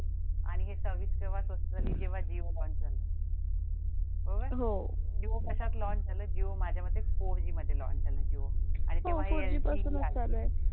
आणि ही सर्विस केव्हा स्वस्त झाली जेव्हा जिओ launch झाल बरोबर जिओ कशात launch झालं जिओ माझ्यामते four G मध्ये launch झालं जिओ